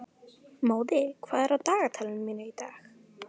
Móði, hvað er á dagatalinu mínu í dag?